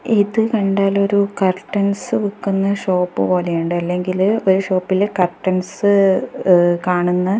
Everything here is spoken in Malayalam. ഇത് കണ്ടാല് ഒരു കർട്ടെൻസ് വിക്കുന്ന ഷോപ്പ് പോലെയുണ്ട് അല്ലെങ്കില് ഒരു ഷോപ്പില് കർട്ടെൻസ് ഇഹ് കാണുന്ന --